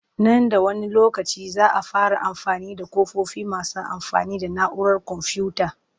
Nan da wani lokaci za a fara amfani da ƙofofi masu amfani da na'urar komfuyuta